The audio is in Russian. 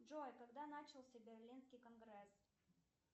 джой когда начался берлинский конгресс